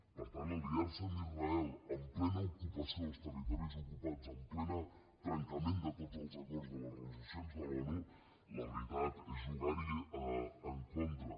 per tant aliar se amb israel en plena ocupació dels territoris ocupats en ple trencament de tots els acords de les resolucions de l’onu la veritat és jugar hi en contra